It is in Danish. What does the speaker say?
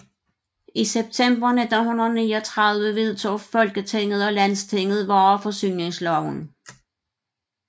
I september 1939 vedtog Folketinget og Landstinget Vareforsyningsloven